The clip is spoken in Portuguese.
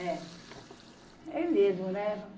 É. É mesmo, né?